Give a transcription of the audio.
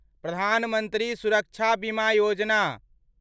प्रधान मंत्री सुरक्षा बीमा योजना